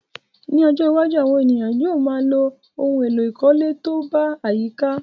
Ní ojó iwájú, àwon èèyàn yio má a ló oun èló ìkólé to ba àyíká sòrẹ́